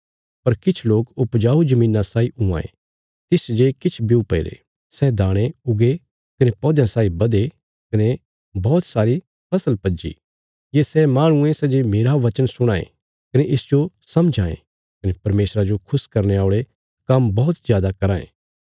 पर किछ लोक उपजाऊ धरतिया साई हुआं ये तिसच जे किछ ब्यू पैईरे सै दाणे उगे कने पौध्यां साई बधे कने बौहत सारी फसल पज्जी ये सै माहणु ये सै जे मेरा बचन सुणां ये कने इसजो समझां ये कने परमेशरा जो खुश करने औल़े काम्म बौहत जादा कराँ ये